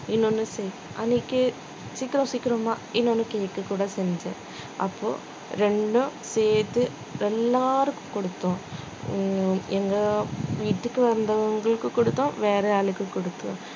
இன்னொன்னு செய் அன்னைக்கு சீக்கிரம் சீக்கிரமா இன்னொன்னு cake க்கு கூட செஞ்சேன் அப்போ ரெண்டும் சேர்த்து எல்லாருக்கும் கொடுத்தோம் ஹம் எங்க வீட்டுக்கு வந்தவங்களுக்கு கொடுத்தோம் வேற ஆளுக்கு கொடுத்தோம்